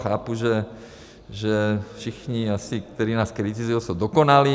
Chápu, že asi všichni, kteří nás kritizují, jsou dokonalí.